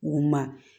U ma